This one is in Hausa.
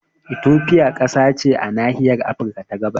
Ethiopia kasa ce a nahiyar Afirka ta gabas